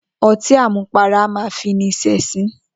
O̩tí àmupara a máa fi ni s̩è̩sín